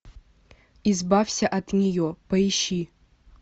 избавься от нее поищи